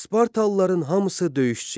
Spartalıların hamısı döyüşçü idi.